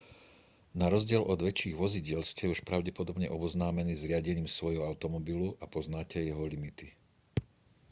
na rozdiel od väčších vozidiel ste už pravdepodobne oboznámení s riadením svojho automobilu a poznáte jeho limity